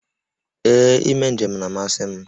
Ee, ime njem na-amasị m